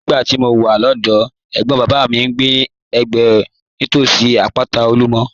Nígbà tí mo wà lọ́dọ̀ọ́, ẹ̀gbọ́n bàbá mi ń gbé nítòsí àpáta Olumo.